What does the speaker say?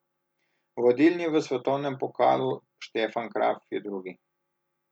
Vodilni v svetovnem pokalu Stefan Kraft je drugi.